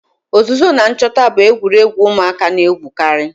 Ozuzo na nchota bu egwuregwu umuaka na-egwukari.